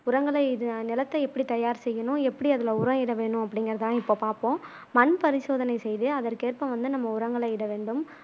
உரங்களை இது நிலத்தை எப்படி தயார் செய்யணும் எப்படி அதுல உரம் இட வேணும் அப்பிடிங்குறதுதான் இப்போ பாப்போம் மண் பரிசோதனை செய்து அதற்கேற்ப வந்து நம்ம உரங்களை இட வேண்டும்